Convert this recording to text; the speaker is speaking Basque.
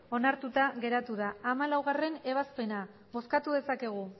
onartuta geratu da hamalaugarrena ebazpena bozkatu dezakegu